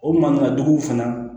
O mankantigi fana